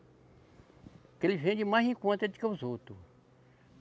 Porque ele vende mais em conta de que os outros.